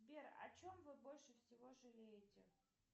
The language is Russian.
сбер о чем вы больше всего жалеете